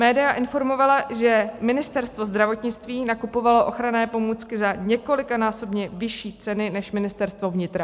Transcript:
Média informovala, že Ministerstvo zdravotnictví nakupovalo ochranné pomůcky za několikanásobně vyšší ceny než Ministerstvo vnitra.